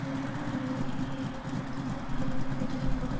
ஐரோப்பிய நாடுகளுக்கிடையே இருக்கும் அழுத்தங்கள் இருந்தபோதிலும்கூட